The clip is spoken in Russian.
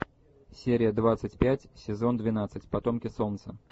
серия двадцать пять сезон двенадцать потомки солнца